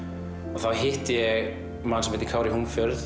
og þá hitti ég mann sem heitir Kári